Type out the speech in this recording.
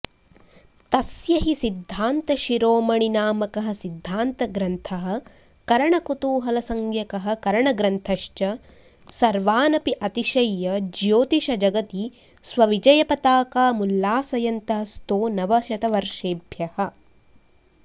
तस्य हि सिद्धान्तशिरोमणिनामकः सिद्धान्तग्रन्थः करणकुतूहलसंज्ञकः करणग्रन्थश्च सर्वानपि अतिशय्य ज्योतिषजगति स्वविजयपताकामुल्लासयन्तः स्तो नवशतवर्षेभ्यः